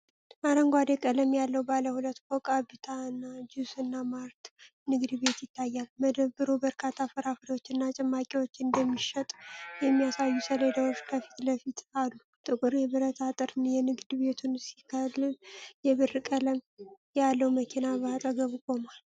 አረንጓዴ ቀለም ያለው ባለ ሁለት ፎቅ 'አብታነ ጁስ እና ማርት' ንግድ ቤት ይታያል። መደብሩ በርካታ ፍራፍሬዎችና ጭማቂዎች እንደሚሸጥ የሚያሳዩ ሰሌዳዎች ከፊት ለፊቱ አሉ። ጥቁር የብረት አጥር የንግድ ቤቱን ሲከልል፣ የብር ቀለም ያለው መኪና በአጠገቡ ቆሟል።